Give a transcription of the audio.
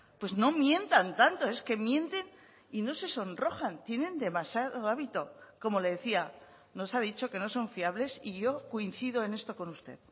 pues no mientan tanto es que mienten y no se sonrojan tienen demasiado hábito como le decía nos ha dicho que no son fiables y yo coincido en esto con usted